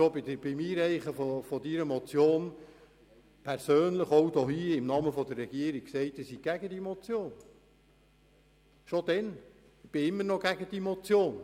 Ich habe bereits zum Zeitpunkt der Einreichung der Motion im Namen der Regierung erklärt, dass ich gegen die Motion bin, was sich bis heute nicht geändert ha.